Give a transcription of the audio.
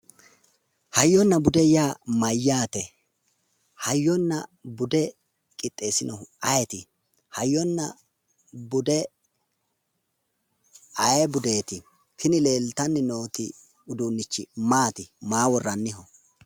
Hayyonna bude yaa mayyaate? Hayyonna bude qixxeeesinohu ayeeti? Hayyonna bude ayee budeeti? tini leeltanni nooti maati maa worrannite?